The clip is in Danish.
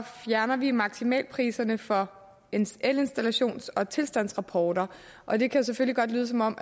fjerner vi maksimalpriserne for elinstallations og tilstandsrapporter og det kan selvfølgelig godt lyde som om